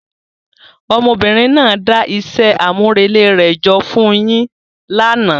Ọmọbìnrin náà dá iṣẹ́ àmúrelé rẹ̀ jọ fún un yín lánàá.